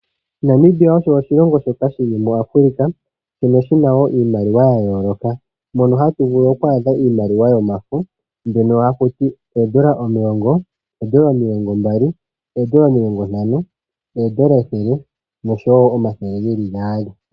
Namibia osho oshilongo shoka shili muAfrica, shoka shina wo iimaliwa ya yooloka. Mono hatu vulu okwaadha iimaliwa yomafo ,mbyono hakutiwa oondola omulongo, oondola omilongo mbali, oondola omilongo ntano, noondola ethele noshowo omathele gaali.